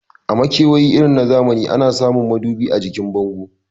A makewayi irin zamani ana samun madubi a jikin bango